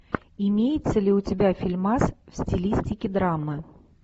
имеется ли у тебя фильмас в стилистике драмы